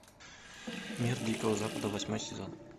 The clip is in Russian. мир дикого запада восьмой сезон